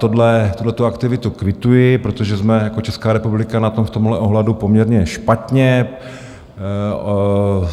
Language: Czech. Tuhle aktivitu kvituji, protože jsme jako Česká republika na tom v tomhle ohledu poměrně špatně.